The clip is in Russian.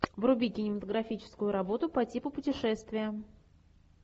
вруби кинематографическую работу по типу путешествия